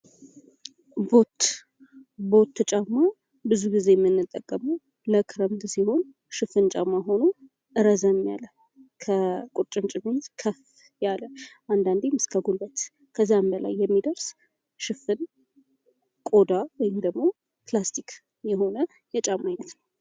ቦት፤ ቦት ጫማ ብዙ ጊዜ እእምንጠቀመው ለክረምት ሲሆን ሽፍን ጫማ መሆኖ ረዘም ያለ ከቁርጭምጭሚት ከፍ ያለ አንዳንዴም እስከ ጉልበት ከዛም በላይ የሚደርስ ሽፍን ቆዳ ወይም ደግሞ ፕላስቲክ የሆነ የጫማ ዓይነት ነው።